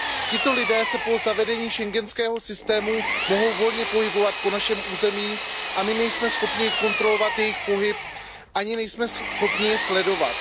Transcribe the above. Tito lidé se po zavedení schengenského systému mohou volně pohybovat po našem území a my nejsme schopni kontrolovat jejich pohyb ani nejsme schopni je sledovat.